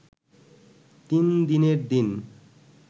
তিনদিনের দিন